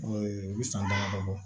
u bɛ san damadɔ bɔ